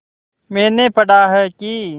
मैंने पढ़ा है कि